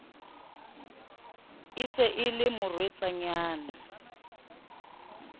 e se e le morwetsanyana